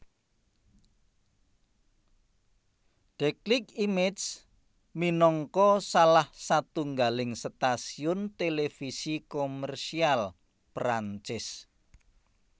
Déclic Images minangka salah satunggaling stasiun televisi komersial Perancis